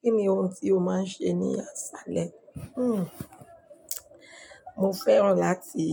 Kí ni ohun tí o máa ń ṣe ní àsálẹ? Hmm mo fẹ́ràn láti